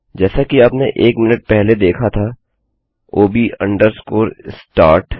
जैसा कि आपने एक मिनट पहले देखा था ओब अंडरस्कोर स्टार्ट